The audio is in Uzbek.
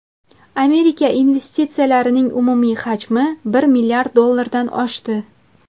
Amerika investitsiyalarining umumiy hajmi bir milliard dollardan oshdi.